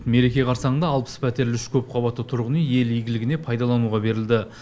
мереке қарсаңында алпыс пәтерлі үш көпқабатты тұрғын үй ел игілігіне пайдалануға берілді